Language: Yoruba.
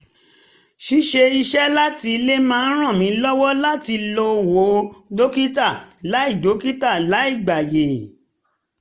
ṣíṣe iṣẹ́ láti ilé máa ń ràn mí lọ́wọ́ láti lọ wo dókítà láì dókítà láì gbàyè